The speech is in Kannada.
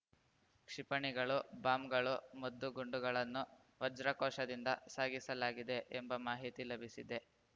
ಕ್ಷಿಪಣಿಗಳು ಬಾಂಬ್‌ಗಳು ಮದ್ದು ಗುಂಡುಗಳನ್ನು ವಜ್ರಕೋಶದಿಂದ ಸಾಗಿಸಲಾಗಿದೆ ಎಂಬ ಮಾಹಿತಿ ಲಭಿಸಿದೆ